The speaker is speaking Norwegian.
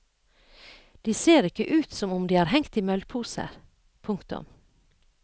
De ser ikke ut som om de har hengt i møllposer. punktum